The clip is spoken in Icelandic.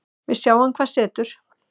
Við sjáum hvað setur